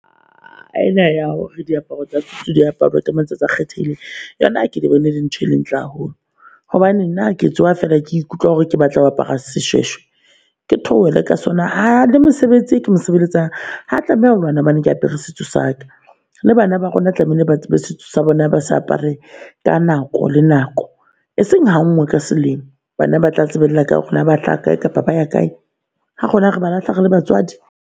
E na ya hore diaparo tsa diaparo tsa matsatsi a kgethehileng yona, ke bone dintho le ntle haholo hobane nna ke tsoha fela ke ikutlwa hore ke batla ho apara seshweshwe, ke theohela ka sona. Ha le mosebetsi ke mosebeletsang ha tlameha ho lwana hoba ke apere setso saka. Le bana ba rona tlamehile ba tsebe setso sa bona, ba sa apare ka nako le nako e seng ha nngwe ka selemo. Bana ba tla tsebella kae hore na ba hlaha kae kapa ba ya kae ha rona re ba lahla re le batswadi.